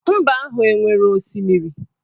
Mba ahụ enwere osimiri?